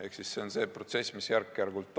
Ehk see on protsess, mis toimub järk-järgult.